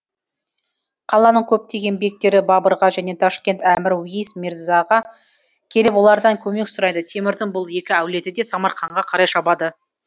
қаланың көптеген бектері бабырға және ташкент әмір уейс мерзаға келіп олардан көмек сұрайды темірдің бұл екі әулеті де самарқанға қарай шабады